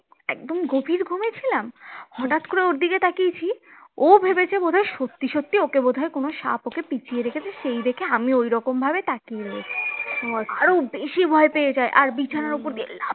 একদম গভীর ঘুমে ছিলাম হটাৎ করে ওর দিকে তাকিয়েছি ও ভেবেছে বোধ হয় সত্যিই সত্যিই ওকে বোধ হয় কোনো সাপ ওকে পেঁচিয়ে রেখেছে সেই দেখে আমি ঐরকমভাবে তাকিয়ে রয়েছি আরো বেশি ভয় পেয়ে যায় আর বিছানার ওপর দিয়ে লাফ